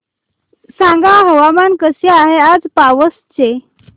सांगा हवामान कसे आहे आज पावस चे